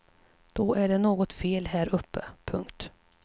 Då är det något fel här uppe. punkt